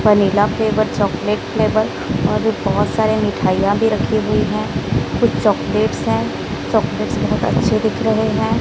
Vanilla flavour chocolate flavour और भी बहोत सारे मिठाइयां भी रखी हुई हैं कुछ चॉकलेट्स हैं चॉकलेट्स बहोत अच्छे दिख रहे हैं।